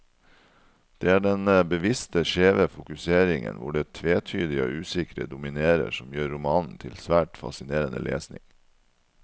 Det er denne bevisst skjeve fokuseringen, hvor det tvetydige og usikre dominerer, som gjør romanen til svært fascinerende lesning.